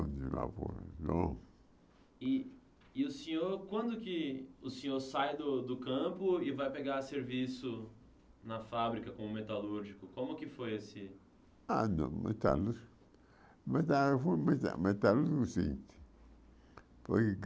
lavoura E o senhor, quando que o senhor sai do do campo e vai pegar serviço na fábrica como metalúrgico, como que foi esse... Ah, não, metalúrgico... metalú foi muita metalúrgico. Foi